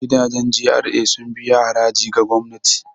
Gidajen GRA sun biya haraji ga gwamnati.